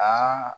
Aa